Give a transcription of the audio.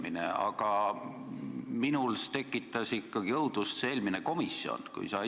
Ent minus tekitas ikkagi õudust see eelmine komisjoni istung.